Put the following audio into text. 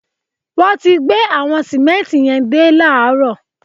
Wọ́n ti gbé àwọn sìmẹ́ǹtì yẹn dé láààrọ̀